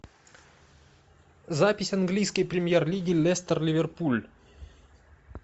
запись английской премьер лиги лестер ливерпуль